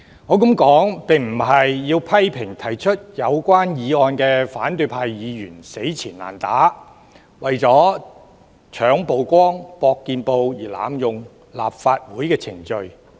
我這樣說並非想批評提出議案的反對派議員死纏爛打，為了搶曝光、搏見報而濫用立法會程序。